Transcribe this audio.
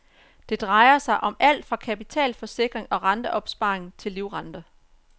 Det drejer sig om alt fra kapitalforsikring og rateopsparing til livrenter.